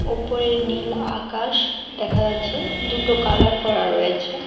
ওপরের নীল আকাশ দেখা যাচ্ছে দুটো কালার করা রয়েছে।